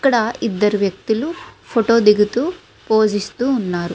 ఇక్కడ ఇద్దరు వ్యక్తులు ఫోటో దిగుతూ పోస్ ఇస్తూ ఉన్నారు.